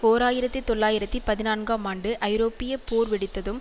ஓர் ஆயிரத்தி தொள்ளாயிரத்தி பதினான்கும் ஆண்டு ஐரோப்பிய போர் வெடித்ததும்